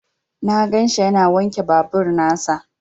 Na ganshi yana wanke babur nasa.